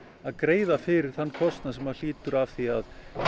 að greiða fyrir þann kostnað sem lýtur að því að